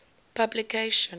publication